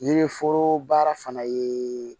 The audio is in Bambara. Yiri foro baara fana ye